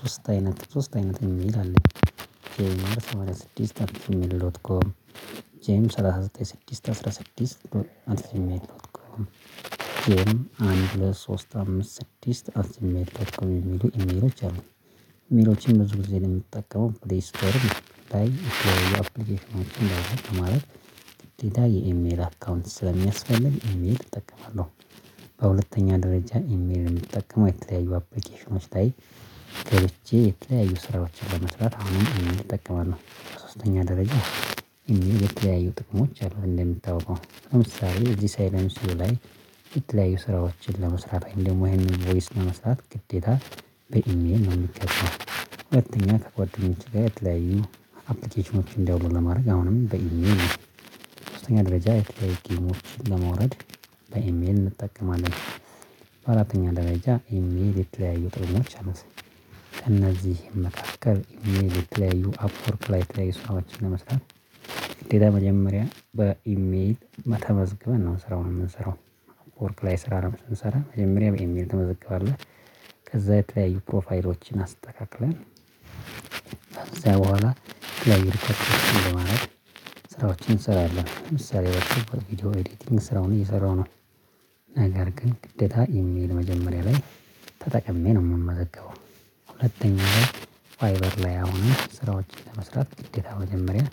ሶስት አይነት ሶስት አይነት ኢሜል አለኝ ይሄን ሰማኒያ ስድስት አት ጂሜል ዶት ኮም ጄም ሰላሳ ዘጠኝ ስድስት አስራ አት ጂሜል ዶት ኮም ጄ ምአንድ ሁለት ሶስት አምስት ስድስት አት ጅሜል ዶት ኮም የሚሉ ኢሜሎች አሉኝ ኢሜሎችን ብዙ ጊዜ እኔ የምጠቀሙ ፕላይስቶር ላይ አፕሊኬሽኖችን ማለት ግዴታ የኢሜል አካውንት ስለሚያስፈልግ ኢሜል እጠቀማለሁ በሁለተኛ ደረጃ ኢሜል የምጠቀመው የተለያዩ አፕሊኬሽኖች ታይ የተለያዩ ስራዎችን ለመስራት አሁንም ኢሜል እጠቀማለሁ በሶስተኛ ደረጃ የተለያዩ ጥቅሞች አሉ እንደምታውቀው ለምሳሌ እዚህ ሳይለንሲዮ ላይ የተለያዩ ስራዎችን ለመስራት ወይም ደግሞ ይሄንን ቮይስ ለመስራት ግዴታ በኢሜል ነው የሚገባው ሁለተኛ ከጓደኞች ጋር የተለያዩ አፕሊኬሽኖችን ዳውሎድ ለማድረግ አሁንም በኢሜል ነው ሶስተኛ ደረጃ የተለያዩ ጌሞች ለማውረድ በኢሜል እንጠቀማለን በአራተኛ ደረጃ ኢሜል የተለያዩ ጥቅሞች አሉት ከእነዚህ መካከል ኢሜል የተለያዩ አፕወርክ ላይ የተለያዩ ሰራዎችን ለመስራት ግዴታ መጀመሪያ በኢሜል ተመዝገበን ነው ስራውን የምንሰራው አፕወርክ ላይ ስራ ስንሰራ መጀመሪያ በኢሜል ትመዘግባለህ ከዛ የተለያዩ ፕሮፋይሎችን አስተካክለን ከዛ በኋላ ለይተህ ለማለት ስራዎችን እንሰራለን። ለምሳሌ በችግር ቪዲዮ ኤዲቲንግ ስራውን እየሰራው ነው። ነገር ግን ግደታ ኢሜል መጀመሪያ ላይ ተጠቅሜ ነው የምመዘገበው። ሁለተኛ ላይ ቫይበር ላይ አሁን ስራዎችን ለመስራት ግዴታ መጀመሪያ